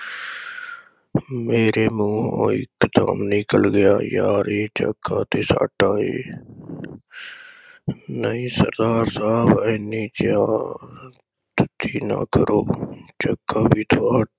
ਮੇਰੇ ਮੂੰਹ ਇਕ ਦਮ ਨਿਕਲ ਗਿਆ ਯਾਰ ਇਹ ਜੱਗਾ ਤੇ ਸਾਡਾ ਏ, ਨਹੀਂ ਸਰਦਾਰ ਸਾਹਿਬ ਇੰਨੀ ਧੱਕੀ ਨਾ ਕਰੋ ਜੱਗਾ ਵੀ ਤੁਹਾਡਾ